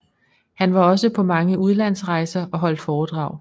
Han var også på mange udlandsrejser og holdt foredrag